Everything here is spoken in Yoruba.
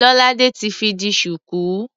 Lolade ti fi di ṣùkú.